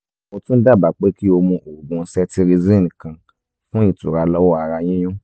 mo tún dábàá pé kí o mu oògùn cetirizine kan fún ìtura lọ́wọ́ ara yíyún